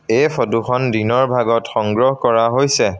এই ফটো খন দিনৰ ভাগত সংগ্ৰহ কৰা হৈছে।